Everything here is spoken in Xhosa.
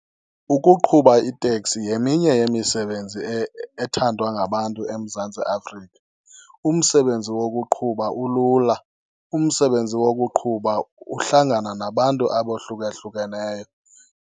Ukuqhuba iteksi yeminye yemisebenzi ethandwa ngabantu eMzantsi Afrika. Umsebenzi wokuqhuba ulula. Umsebenzi wokuqhuba uhlangana nabantu abohlukahlukaneyo.